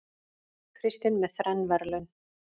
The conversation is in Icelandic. Kristinn með þrenn verðlaun